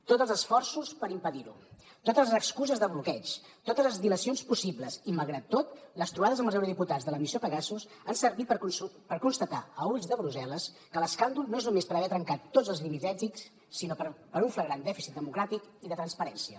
tots els esforços per impedir ho totes les excuses de bloqueig totes les dilacions possibles i malgrat tot les trobades amb els eurodiputats de la missió pegasus han servit per constatar a ulls de brussel·les que l’escàndol no és només per haver trencat tots els límits ètics sinó per un flagrant dèficit democràtic i de transparència